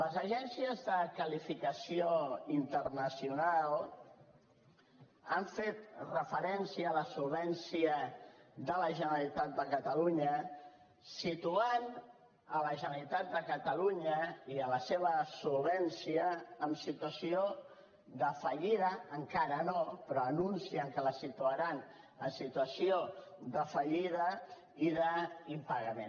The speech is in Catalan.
les agències de qualificació internacional han fet referència a la solvència de la generalitat de catalunya situant la generalitat de catalunya i la seva solvència en situació de fallida encara no però anuncien que la situaran en situació de fallida i d’impagament